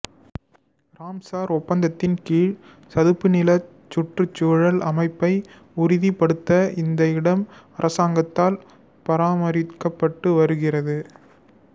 Ramsar ஒப்பந்தத்தின் கீழ் சதுப்புநிலச் சுற்றுச்சூழல் அமைப்பை உறுதிப்படுத்த இந்த இடம் அரசாங்கத்தால் பராமரிக்கப்பட்டு வருகிறது